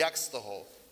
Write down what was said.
Jak z toho?